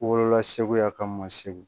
Wolola segu yan ka mɔ segu